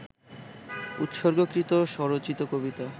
উৎসর্গকৃত স্মরচিত কবিতা